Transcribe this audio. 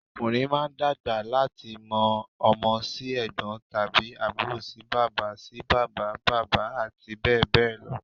Ọkùnrin máa dàgbà láti ọmọ sí ẹ̀gbọ́n tàbí àbúrò sí bàbá sí bàbá bàbá àti bẹ́ẹ̀ bẹ́ẹ̀ lọ